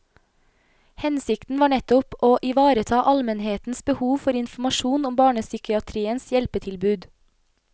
Hensikten var nettopp å ivareta almenhetens behov for informasjon om barnepsykiatriens hjelpetilbud.